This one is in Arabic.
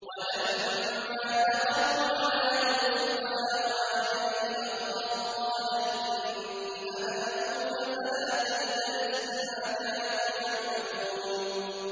وَلَمَّا دَخَلُوا عَلَىٰ يُوسُفَ آوَىٰ إِلَيْهِ أَخَاهُ ۖ قَالَ إِنِّي أَنَا أَخُوكَ فَلَا تَبْتَئِسْ بِمَا كَانُوا يَعْمَلُونَ